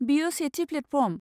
बेयो सेथि प्लेटफर्म।